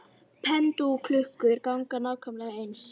Pendúlklukkur ganga nákvæmlega eins.